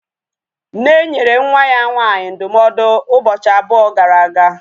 Nne nyere nwa ya nwaanyị ndụmọdụ ụbọchị abụọ gara aga